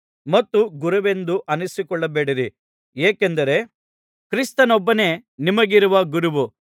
ಮತ್ತು ಗುರುವೆಂದು ಅನ್ನಿಸಿಕೊಳ್ಳಬೇಡಿರಿ ಏಕೆಂದರೆ ಕ್ರಿಸ್ತನೊಬ್ಬನೇ ನಿಮಗಿರುವ ಗುರುವು